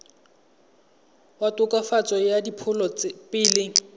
wa tokafatso ya diphologolo pele